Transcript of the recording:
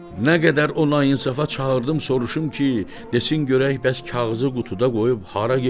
Nə qədər ona insafa çağırdım, soruşum ki, desin görək bəs kağızı qutuda qoyub hara gedir?